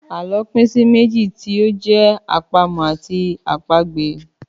Àlọ́ pín sí méjì tí ó jẹ́ àpamọ̀ àti àpagbè.